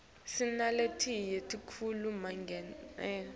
sinaletinye tikhulu manqemdlala